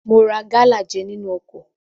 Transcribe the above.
Mo ra gálà jẹ nínú ọkọ̀.